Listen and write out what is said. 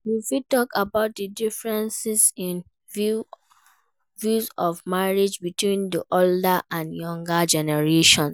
You fit talk about di differences in views on marriage between di older and younger generations.